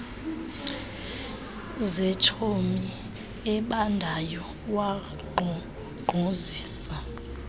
zentsomi ebandayo wankqonkqozisa